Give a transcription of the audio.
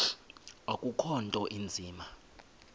akukho nto inzima